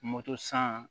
san